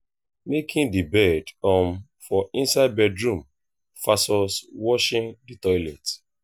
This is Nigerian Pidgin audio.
making the bed um for inside bedroom vs washing the toilet